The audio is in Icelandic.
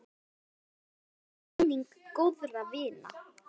Blessuð sé minning góðra vina.